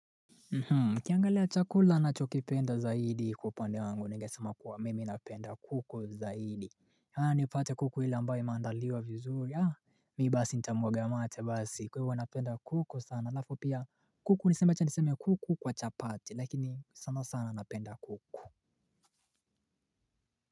Ukiangalia chakula nachokipenda zaidi kwa upande wangu ningesema kuwa mimi napenda kuku zaidi yaani upate kuku ile ambayo imendaliwa vizuri haa mi basi ntamwaga mate basi kwa hivo napenda kuku sana alafu pia kuku niseme acha niseme kuku kwa chapati lakini sana sana napenda kuku.